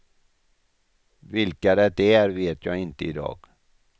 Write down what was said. Vilka det är vet jag inte idag.